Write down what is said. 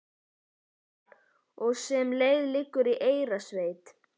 Arnardal og sem leið liggur í Eyrarsveit.